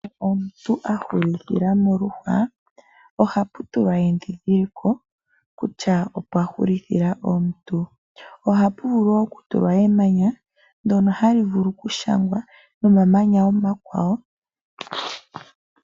Omuntu ahulithila moluhwa, ohapu tulwa endhindhiliko kutya opwa hulithila omuntu. Ohapu vulu woo oku tulwa emanya, ndyono hali vulu oku shangwa momamanya omakwawo.